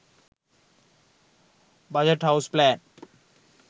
budget house plan